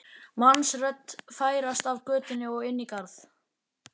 mannsrödd færast af götu og inn í garð.